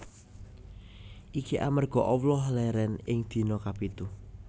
Iki amarga Allah lèrèn ing dina kapitu